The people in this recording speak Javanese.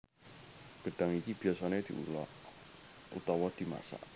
Gedhang iki biyasane diolah utawa dimasak